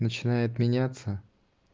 начинает меняться